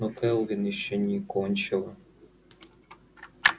но кэлвин ещё не кончила